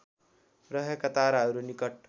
रहेका ताराहरू निकट